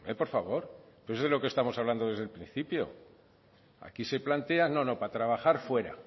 por favor que es de lo que estamos hablando desde el principio aquí se plantea no no para trabajar fuera